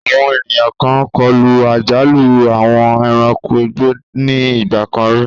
Àwọn ènìyàn kan kọlu àjálù àwọn ẹranko igbó ní ìgbà kan rí.